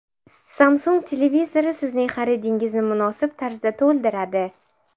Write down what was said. Samsung televizori sizning xaridingizni munosib tarzda to‘ldiradi.